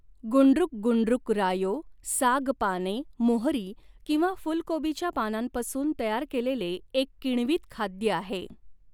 गुंडृक गुंडृक रायो साग पाने मोहरी किंवा फूलकोबीच्या पानांपासून तयार केलेले एक किण्वित खाद्य आहे.